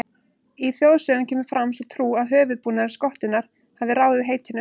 Í þjóðsögum kemur fram sú trú að höfuðbúnaður skottunnar hafi ráðið heitinu.